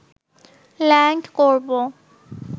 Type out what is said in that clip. land করব